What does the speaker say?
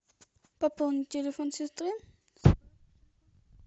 пополнить телефон сестры